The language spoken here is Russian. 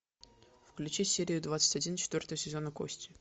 включи серию двадцать один четвертого сезона кости